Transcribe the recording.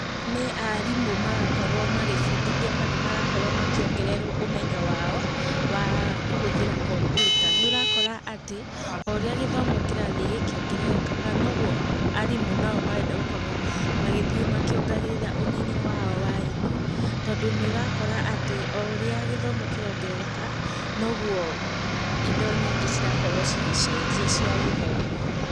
Nĩ arimũ marakorwo magĩbundithio kana marakorwo makiongererwo ũmenyo wao, wa kũhũthĩra kompiuta. Nĩ ũrakora atĩ, o ũrĩa gĩthomo kĩrathiĩ gĩkiongererekaga noguo, arimũ nao marenda gũkorwo magĩthiĩ makĩongagĩrĩra ũmenyo wao wa indo. Tondũ nĩũrakora atĩ o ũrĩa gĩthomo kĩrongerereka, noguo, indo nyingĩ cirakorwo cigĩcenjia cia gĩthomo.